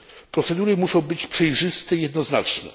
Procedury musza być przejrzyste i jednoznaczne.